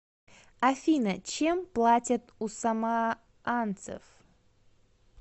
афина чем платят у самоанцев